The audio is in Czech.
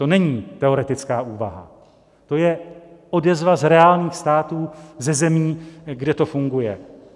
To není teoretická úvaha, to je odezva z reálných států, ze zemí, kde to funguje.